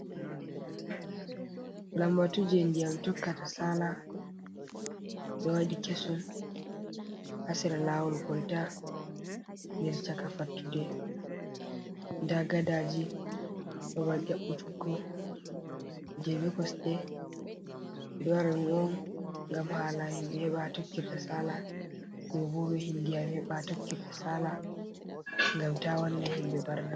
Lambatu je ndiyam tokkata sala ɓe wadɗi kesum hasira lawol kolta der chaka fattude nda gaddaji babal ƴabutuggo je ɓe kosɗe, ɓeɗo waɗɗɗum ongam hala himɓɓe heba ha tokkirta sala ɗobo be ndiyam heɓa ha tokkirta sala gam ta wanna himbe barna.